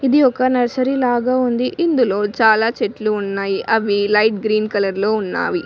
ఇది ఒక నర్సరీ లాగా ఉంది ఇందులో చాలా చెట్లు ఉన్నాయి అవి లైట్ గ్రీన్ కలర్ లో ఉన్నాయి.